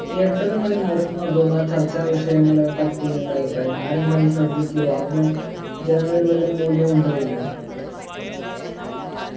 എട്ടരമണി നേരത്ത് നടത്തുന്ന ചർച്ചാ വിഷയങ്ങളെപ്പറ്റി എന്താ അഭിപ്രായം ആരെങ്കിലും അത് ശ്രദ്ധിക്കോ അതിന് ജനങ്ങളിൽ വല്ല മൂല്യവും ഉണ്ടോ ഇല്ലയോ